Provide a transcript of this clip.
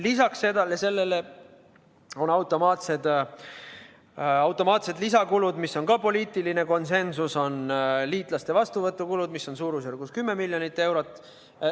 Lisaks sellele on automaatsed lisakulud, mis on samuti poliitiline konsensus, seal on liitlaste vastuvõtu kulud, mis on suurusjärgus 10 miljonit eurot.